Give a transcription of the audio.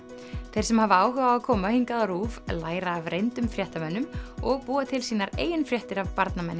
þeir sem hafa áhuga á að koma hingað á RÚV læra af reyndum fréttamönnum og búa til sínar eigin fréttir af